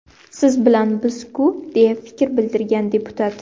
Siz bilan biz-ku”, deya fikr bildirgan deputat.